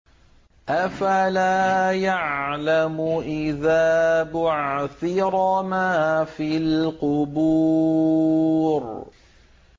۞ أَفَلَا يَعْلَمُ إِذَا بُعْثِرَ مَا فِي الْقُبُورِ